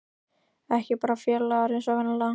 Ekki bara félagar eins og venjulega.